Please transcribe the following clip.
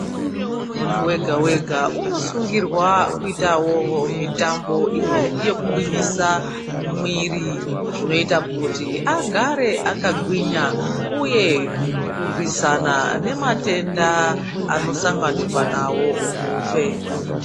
Muntu wega wega unosungirwa kuitawo mitambo iya yekugwinyisa mwiri zvinoita kuti agare akagwinya uye kurwisana nematenda anosanganirwa nawo muhupenyu .